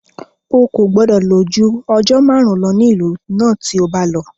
Ó kò gbọdọ̀ lò ju ọjọ́ márùn-ún lọ ní ìlú náà tí o bá lọ.